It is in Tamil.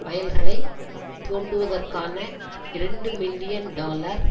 வயல்களை தோண்டுவதற்கான இரண்டு மில்லியன் டாலர்